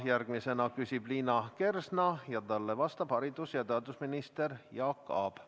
Järgmisena küsib Liina Kersna ja talle vastab haridus- ja teadusminister Jaak Aab.